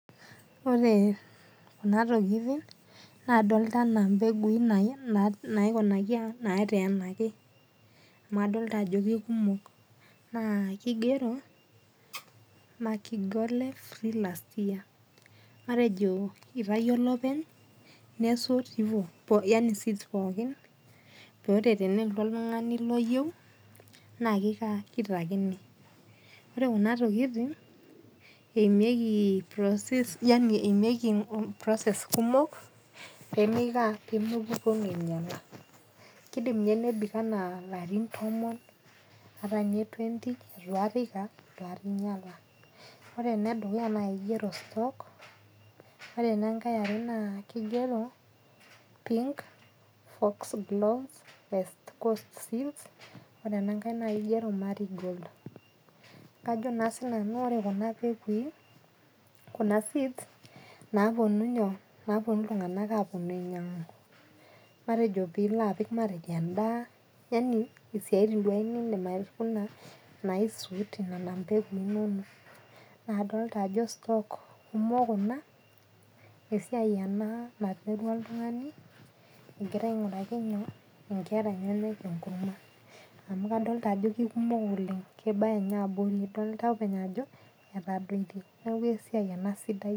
Ore kuna tokiting, nadolta enaa impegui nai naikunaki nateenaki. Amu adolta ajo kekumok, naa kigero Makigole free last year. Matejo itayio olopeny nesot ivo, yaani seeds pookin, pore teneltu oltung'ani loyieu, naa kikaa kitakini. Ore kuna tokiting, eimieki process ani eimieki process kumok, pemeikaa pemeponu ainyala. Kidim inye nebik enaa larin tomon, atanye twenty itu akata iko ah, itu akata inyala. Ore enedukuya nakigero stock, ore enankae eare naa kigero pink foxgloves west coast seeds, ore enankae nakigero marigold. Kajo naa sinanu ore kuna pekui, kuna seeds naponu nyoo, naponu iltung'anak aponu ainyang'u. Matejo pilo apik matejo endaa, yani isiaitin duo nidim aikuna naisut nena mpegui inonok. Nadolta ajo stock kumok kuna, esiai ena naiterua oltung'ani, egira aing'uraki nyoo inkera enyanak enkurma. Amu kadolta ajo kekumok oleng. Kebaya nye abori, idolta openy ajo, etadoitie. Neeku esiai ena sidai.